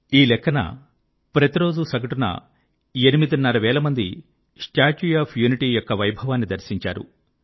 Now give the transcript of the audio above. ఈ లెక్కన ప్రతిరోజూ సగటున ఎనిమిదిన్నర వేల మంది స్టాట్యూ ఆఫ్ యూనిటీ యొక్క వైభవాన్ని దర్శించారు